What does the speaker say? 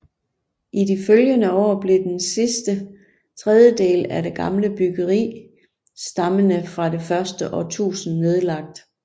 I de følgende år blev den sidste tredjedel af det gamle byggeri stammende fra det første årtusinde nedlagt